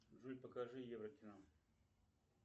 джой покажи еврокино